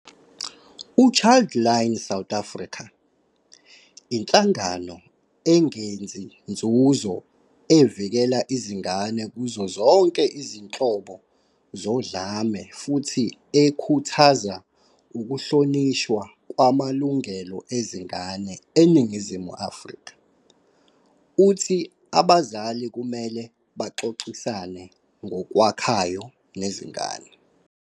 U-Childline South Africa, inhlangano engenzi nzuzo evikela izingane kuzo zonke izinhlobo zodlame futhi ekhuthaza ukuhlonishwa kwamalungelo ezingane eNingizimu Afrika, uthi abazali kumele baxoxisane ngokwakhayo nezingane.